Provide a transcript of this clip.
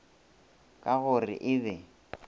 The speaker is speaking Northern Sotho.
ka go re e be